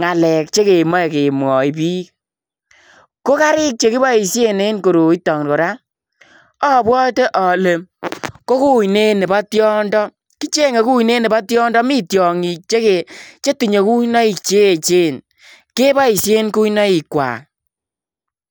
ngalek chekemwachiin biik ko gariik chekibaisheen en koroi itoo kora abwate ale ko kuineet nebo tiondo mii tiangiing chetinyei kuinaig cheecheen kebaisheen kuinaig kwaak.